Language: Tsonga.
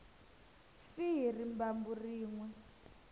fi hi rimbambu rin we